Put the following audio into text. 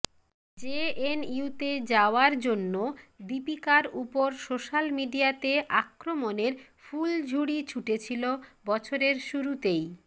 জেএনইউতে যাওয়ার জন্য দীপিকার উপর সোশ্যাল মিডিয়াতে আক্রমণের ফুলঝুড়ি ছুটেছিল বছরের শুরুতেই